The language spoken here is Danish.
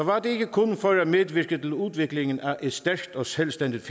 var det ikke kun for at medvirke til udviklingen af et stærkt og selvstændigt